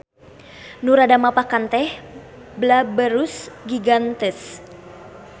Nu rada mapakan teh Blaberus giganteus.